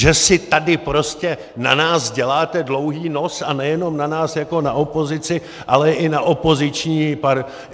Že si tady prostě na nás děláte dlouhý nos, a nejenom na nás jako na opozici, ale i na koaliční partnery?